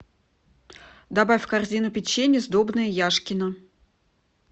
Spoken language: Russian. добавь в корзину печенье сдобное яшкино